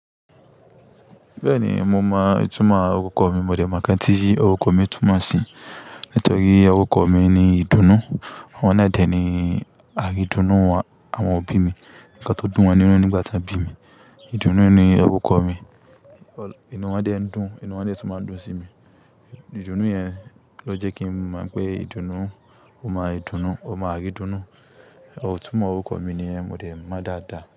Bẹ́ẹ̀ni, mo mọ ìtumọ̀ orúkọ mi. Mo dẹ̀ mọ̀ nkán tí orúkọ mi túmọ̀ sí. Nítorí orúkọ mi ni ìdùnnú. Àwọn náà dẹ̀ ni àridùnnú àwọn òbí mi ní ǹkan tó dùn wọn nínú nígbà tí wọ́n bí mi. Ìdùnnú ni orúkọ mi. Ìnu wọn dẹ̀ ń dùn, ìnu wọn dẹ̀ tó máa ń dùn sí mi. Ìdùnnú yẹn ló jẹ́ kí mo mọ̀ pé ìdùnnú, ọmọ ìdùnnú, ọmọ àridùnnú. Itúmo orúkọ mi ni yen, mo dẹ̀ mọ dáadáa.